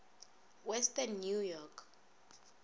western new york